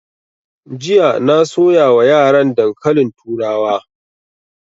Jiya na soya wa yaran dankalin turawa